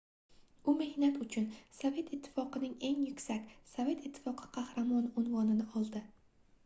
u mehnati uchun sovet ittifoqining eng yuksak - sovet ittifoqi qahramoni unvonini oldi